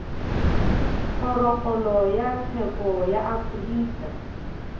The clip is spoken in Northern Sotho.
kgorokgolo ya tsheko ya afrika